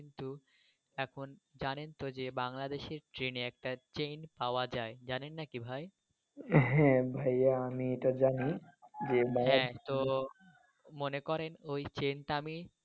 কিন্তু এখন জানেন তো যে বাংলাদেশের ট্রেনে একটা চেন পাওয়া যায়। জানেন নাকি ভাই? হ্যাঁ ভাইয়া আমি এটা জানি যে বাংলাদেশ। মনে করেন ওই চেন টা আমি।